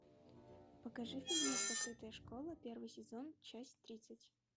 покажи фильмец закрытая школа первый сезон часть тридцать